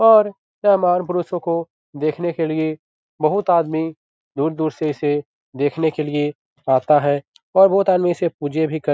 और यह महान पुरुषों को देखने के लिए बहुत आदमी दूर-दूर से इसे देखने के लिए आता है और बहुत आदमी इसे पूजे भी कर --